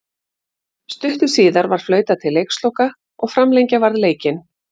Stuttu síðar var flautað til leiksloka og framlengja varð leikinn.